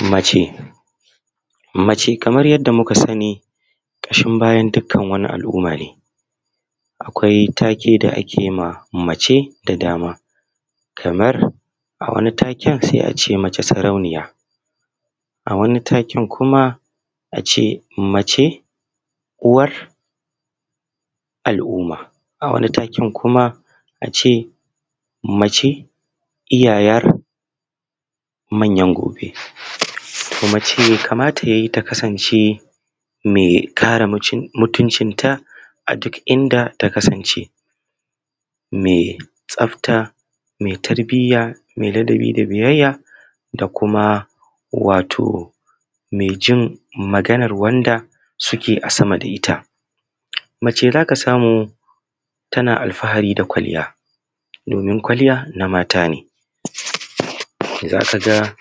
Mace. Mace kamar yadda muka sani mace ƙashin bayan kowane al’umma ne, akwai take da ake ma mace da dama kamar a wani taken se a ce mata sarauniya, a wani taken kuma a ce mace uwar al’uma, a wani taken kuma a ce mace iyayen manyan gobe kuma mace be kamata ta kasance me kare mutuncinta a duk inda ta kasance me tsafta, me tarbiyya me ladabi da biyayya da kuma wato me jin maganar wanda suke a sama da ta. Mace za ka samu tana alfahari, kwalliya domin kwalliya na mata ne za ka ga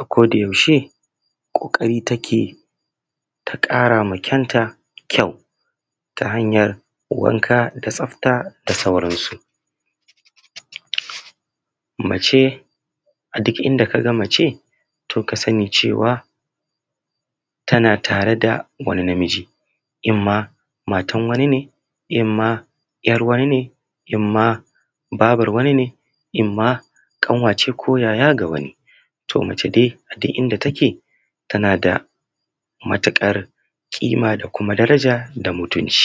akodayaushe ƙoƙari take ta ƙara ma kanta kyau ta hanyan wanka da tsafta da sauransu. Mace a duk inda ka ga mace to ka sani cewa tana tare da wani na miji, imam matan wani ne, imam ‘yar wani ne, imam babar wani ne, imam ƙanwa ce ko yaya ta wani. To, mace dai a duk inda take tana da matuƙar ƙima da kuma daraja da mutunci.